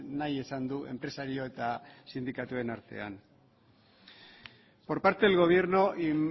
nahi esan du enpresario eta sindikatuen artean por parte del gobierno y